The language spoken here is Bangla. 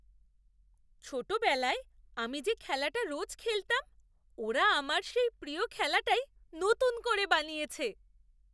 ছোটবেলায় আমি যে খেলাটা রোজ খেলতাম, ওরা আমার সেই প্রিয় খেলাটাই নতুন করে বানিয়েছে!